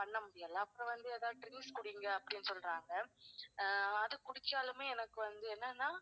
பண்ண முடியல, அப்பறம் வந்து எதாவது juice குடிங்க அப்படின்னு சொல்றாங்க. அஹ் அது குடிச்சாலுமே எனக்கு வந்து என்னனா